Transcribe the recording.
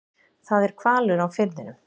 Það er hvalur á firðinum.